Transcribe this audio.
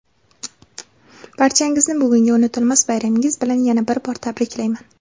barchangizni bugungi unutilmas bayramingiz bilan yana bir bor tabriklayman.